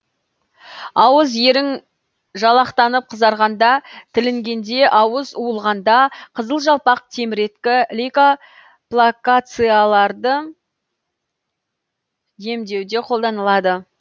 ауыз ерің жалақтанып қызарғанда тілінгенде ауыз уылғанда қызыл жалпақ теміреткі лейкоплакацияларды емдеуде қолданылады